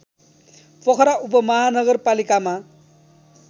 Pokhara उपमहानगरपालिकामा